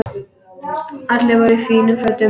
Allir voru í fínum fötum.